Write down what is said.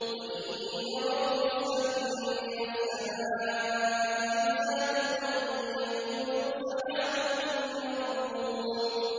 وَإِن يَرَوْا كِسْفًا مِّنَ السَّمَاءِ سَاقِطًا يَقُولُوا سَحَابٌ مَّرْكُومٌ